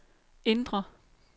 indre